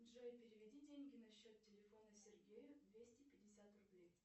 джой переведи деньги на счет телефона сергею двести пятьдесят рублей